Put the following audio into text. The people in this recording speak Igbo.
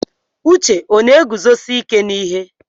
Uche ọ na-eguzosi ike n'ihe?